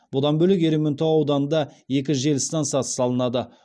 бұдан бөлек ерейментау ауданында екі жел стансасы салынады